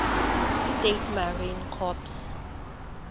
states marine corps